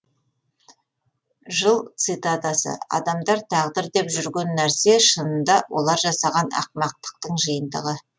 жыл цитатасы адамдар тағдыр деп жүрген нәрсе шынында олар жасаған ақымақтықтың жиынтығы